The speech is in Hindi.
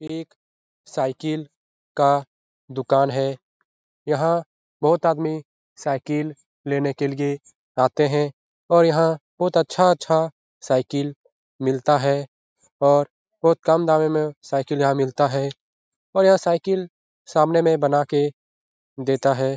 ये एक साइकिल का दुकान है यहाँ बहुत आदमी साइकिल लेने के लिए आते हैं और यहाँ बहुत अच्छा-अच्छा साइकिल मिलता है और बहुत कम दामों में साइकिल यहाँ मिलता है और यहाँ साइकिल सामने में बना के देता है।